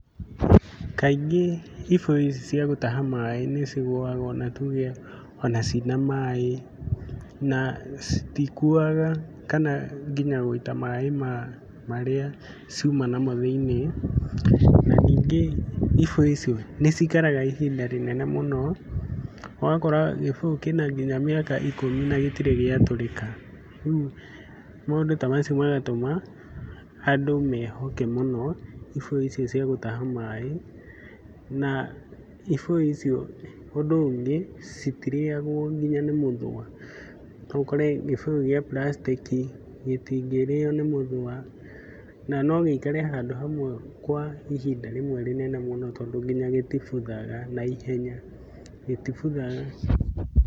Kaingĩ ibũyũ ici cia gũtaha maĩ nĩcigũaga ona cina maĩ na citikuaga kana nginya gũita maĩ marĩa ciũma namo thĩiniĩ na ningĩ ibũyũ icio nĩcikaraga ihinda rĩnene mũno ogakora gĩbũyũ kĩna nginya mĩaka ikũmi na nginya gĩtirĩ giatũrĩka. Rĩũ maũndũ ta macio magatũma andũ mehoke mũno ibũyũ icio cia gũtaha maĩ na ifũyũ icio ũndũ ũngĩ citirĩagwo nginya nĩ mũthũa. Noũkore gĩbũyũ gia prastĩki gĩtingĩrĩo nĩ mũthũa na nogĩikare handũ hamwe kwa ihinda rimwe rĩnene mũno tondũ nginya gĩtibuthaga naihenya, gĩtibuthaga.